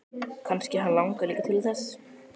Kannski hann langi líka til þess!